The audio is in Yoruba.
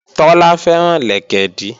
Tọ́lá fẹ́ràn lẹ̀kẹ̀dí